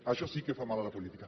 això sí que fa mal a la política